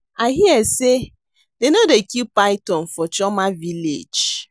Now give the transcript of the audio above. I hear say dey no dey kill python for Chioma village